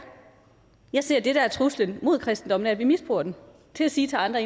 jeg ser at det der er truslen mod kristendommen er at vi misbruger den til at sige til andre